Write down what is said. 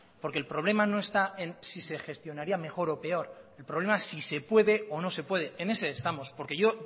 porque el problema no está en si se gestionaría mejor o peor el problema es si se puede o no se puede en ese estamos porque yo